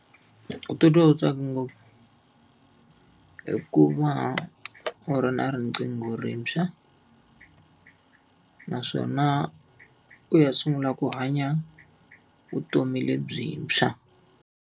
Ku titwa u tsaka ngopfu, hikuva u ri na riqingho rintshwa, naswona u ya sungula ku hanya vutomi lebyintshwa.